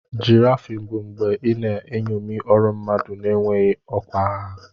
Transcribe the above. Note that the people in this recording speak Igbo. Giraffing bụ mgbe ị na-eṅomi ọrụ mmadụ na-enweghị ọkwa ha.